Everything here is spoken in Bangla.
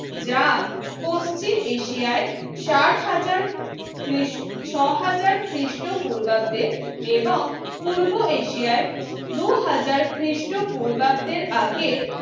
যা পশ্চিম এশিয়ায় ষাট হাজার খ্রিস্ট ছয় হাজার খ্রিস্টপূর্বাব্দে এবং পূর্ব এশিয়ায় দু হাজার খ্রিস্টপূর্বাব্দের আগে